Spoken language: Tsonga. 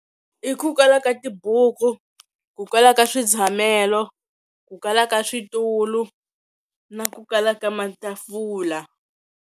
I ku kala ka tibuku ku kwala ka switshamelo ku kala ka switulu na ku kala ka matafula.